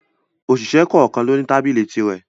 Òṣìṣẹ́ kọ̀kan lo ní tábìlì tirẹ̀